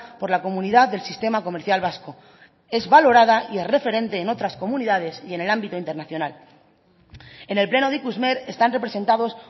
por la comunidad del sistema comercial vasco es valorada y es referente en otras comunidades y en el ámbito internacional en el pleno de ikusmer están representados